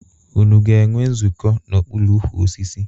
Unu ga-enwe nzukọ n'okpuru ukwu osisi?